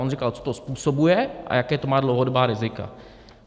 On říkal, co to způsobuje a jaká to má dlouhodobá rizika.